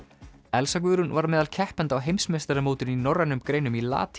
Elsa Guðrún var meðal keppenda á heimsmeistaramótinu í norrænum greinum í